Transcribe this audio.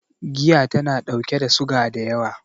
Giya tana ɗauke da suga da yawa